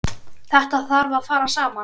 Þetta þarf að fara saman.